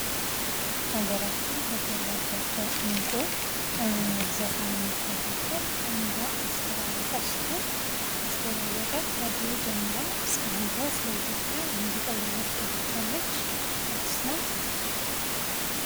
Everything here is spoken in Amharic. ሀገራችን ከፈራቻቸው ዕንቁ ዘፋኞች መካከል አንዷ አስቴር አወቀ ስትሆን አስቴር አወቀ ከድሮ ጀምራ እስካሁን ድረስ ለኢትዮጵያ ሙዚቃ እያበረከተች ያለች አርቲስት ናት።